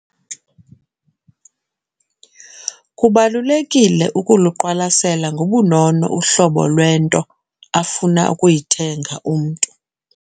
Kubalulekile ukuluqwalasela ngobunono uhlobo lwento afuna ukuyithenga umntu.